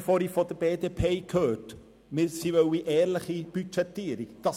Die BDP hat eine ehrliche Budgetierung verlangt.